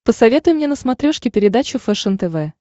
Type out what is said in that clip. посоветуй мне на смотрешке передачу фэшен тв